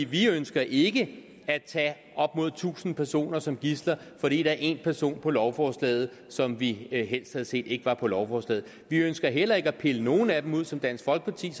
vi ønsker ikke at tage op mod tusind personer som gidsler fordi der er én person på lovforslaget som vi helst havde set ikke var på lovforslaget vi ønsker heller ikke at pille nogle af dem ud som dansk folkeparti